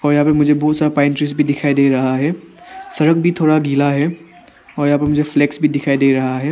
और यहां पर मुझे बहुत सारा पाइप जैसा भी दिखाई दे रहा है सड़क भी थोड़ा गिला है और मुझे फ्लैक्स भी दिखाई दे रहा है।